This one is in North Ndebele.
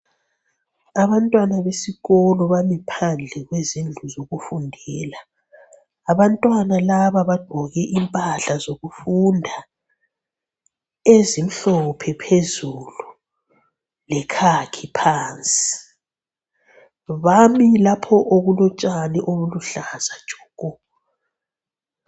Abantwana besikolo bami phandle kwezindlu zokufundela. Abantwana laba bagqoke impahla zokufunda ezimhlophe phezulu lekhakhi phansi. Bami lapho okulotshani oluluhlaza tshoko.